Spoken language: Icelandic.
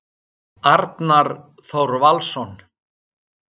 Arnar Þór Valsson